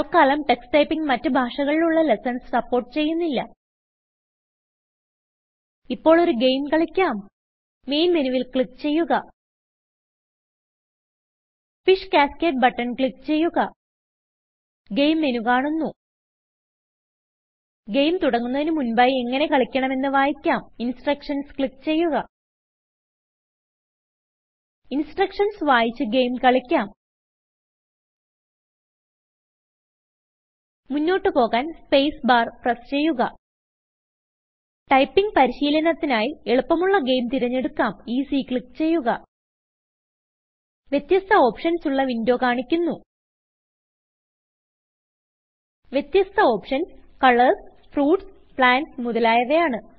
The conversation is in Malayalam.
തൽക്കാലം ടക്സ് Typingമറ്റ് ഭാഷകളിലുള്ള ലെസ്സൺസ് സപ്പോർട്ട് ചെയ്യുന്നില്ല ഇപ്പോൾ ഒരു ഗെയിം കളിക്കാം മെയിൻ മെനുവിൽ ക്ലിക്ക് ചെയ്യുക ഫിഷ് കാസ്കേഡ് ബട്ടൺ ക്ലിക്ക് ചെയ്യുക ഗെയിം മെനു കാണുന്നു ഗെയിം തുടങ്ങുന്നതിന് മുൻപായി എങ്ങനെ കളിക്കണമെന്ന് വായിക്കാംInstructionsക്ലിക്ക് ചെയ്യുക ഇൻസ്ട്രക്ഷൻസ് വായിച്ച് ഗെയിം കളിക്കാം മുന്നോട്ട് പോകാൻ സ്പേസ് ബാർ പ്രസ് ചെയ്യുക ടൈപിംഗ് പരിശീലനത്തിനായി എളുപ്പമുള്ള ഗെയിം തിരഞ്ഞെടുക്കാംEasyക്ലിക്ക് ചെയ്യുക വ്യതസ്ഥ ഓപ്ഷൻസ് ഉള്ള വിന്ഡോ കാണിക്കുന്നു വ്യതസ്ഥ ഓപ്ഷൻസ് കളർസ് ഫ്രൂട്ട്സ് plantsമുതലായവയാണ്